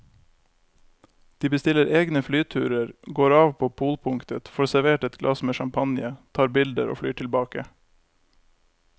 De bestiller egne flyturer, går av på polpunktet, får servert et glass med champagne, tar bilder og flyr tilbake.